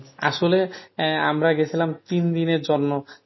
আসলে আহ আমরা গেছিলাম তিন দিনের জন্য